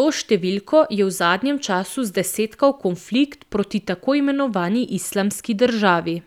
to številko je v zadnjem času zdesetkal konflikt proti tako imenovani Islamski državi.